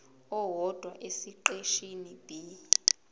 owodwa esiqeshini b